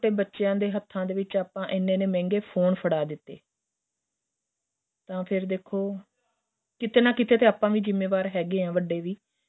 ਬੱਚਿਆਂ ਦੇ ਹੱਥਾ ਦੇ ਵਿੱਚ ਆਪਾਂ ਇੰਨੇ ਇੰਨੇ ਮਹਿੰਗੇ ਫੋਨ ਫੜਾ ਦਿੱਤੇ ਤਾਂ ਫ਼ਿਰ ਦੇਖੋ ਕਿਥੇ ਨਾ ਕਿਥੇ ਆਪਾਂ ਵੀ ਜ਼ਿਮੇਵਾਰ ਹੈਗੇ ਹਾਂ ਵੱਡੇ ਵੀ